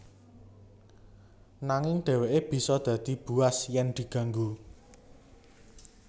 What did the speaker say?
Nanging dheweke bisa dadi buas yen diganggu